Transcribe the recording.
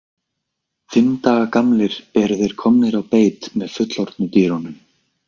Fimm daga gamlir eru þeir komnir á beit með fullorðnu dýrunum.